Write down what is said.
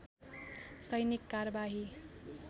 सैनिक कारबाही